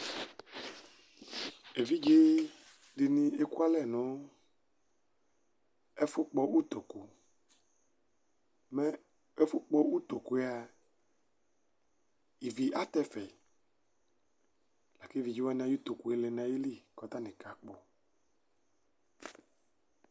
Evidzedini ekʋ alɛ nʋ ɛfʋkpɔ ʋtokʋ, mɛ ɛfʋkpɔ ʋtokʋ yɛ a ivi atɛ ɛfɛ lakʋ evidzewani ayʋ ʋtokʋla lɛnʋ ayili kʋ atani kakpɔ.